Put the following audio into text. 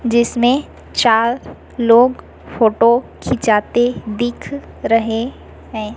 जिसमें चार लोग फोटो खींचते दिख रहे हैं।